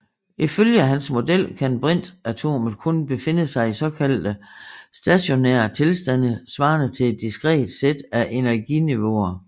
Ifølge hans model kan brintatomet kun befinde sig i såkaldte stationære tilstande svarende til et diskret sæt af energiniveauer